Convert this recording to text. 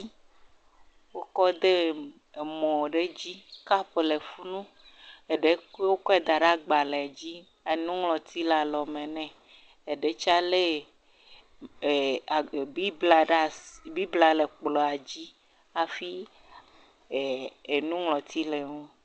wókɔ de emɔ ɖe dzi kap le funu eɖe koe wókɔ daɖe gbalē dzi enuŋlɔti la lɔme nɛ eɖetsa le biblia ɖasi biblia le kplɔ̃ dzi afi e enuŋlɔti le ŋu